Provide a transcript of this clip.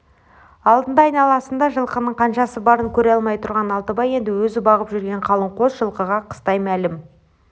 алдында айналасында жылқының қаншасы барын көре алмай тұрған алтыбай енді өзі бағып жүрген қалың қос жылқыға қыстай мәлім